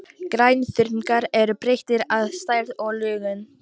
Grænþörungar eru breytilegir að stærð og lögun.